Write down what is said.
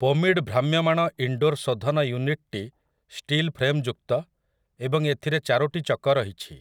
ପୋମିଡ଼୍ ଭ୍ରାମ୍ୟମାଣ ଇନଡୋର୍ ଶୋଧନ ୟୁନିଟ୍‌ଟି ଷ୍ଟିଲ୍ ଫ୍ରେମ୍‌ଯୁକ୍ତ ଏବଂ ଏଥିରେ ଚାରୋଟି ଚକ ରହିଛି ।